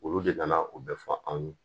Olu de ka na o bɛɛ fɔ anw ye